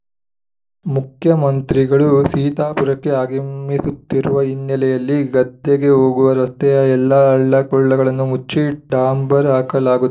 ಮುಖ್ಯಮಂತ್ರಿಗಳು ಸೀತಾಪುರಕ್ಕೆ ಆಗಮಿಸುತ್ತಿರುವ ಹಿನ್ನೆಲೆಯಲ್ಲಿ ಗದ್ದೆಗೆ ಹೋಗುವ ರಸ್ತೆಯ ಎಲ್ಲಾ ಹಳ್ಳ ಕೊಳ್ಳಗಳನ್ನು ಮುಚ್ಚಿ ಡಾಂಬರ್‌ ಹಾಕಲಾಗು